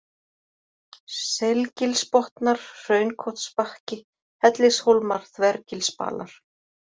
Selgilsbotnar, Hraunkotsbakki, Hellishólmar, Þvergilsbalar